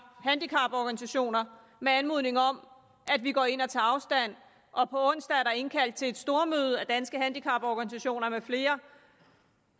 handicaporganisationerne med anmodning om at vi går ind og tager afstand fra og på onsdag er der indkaldt til et stormøde af danske handicaporganisationer med flere